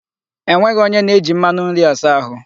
Enweghị onye na-eji mmanụ nri asa ahụ.